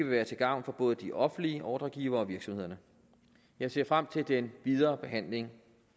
være til gavn for både de offentlige ordregivere og virksomhederne jeg ser frem til den videre behandling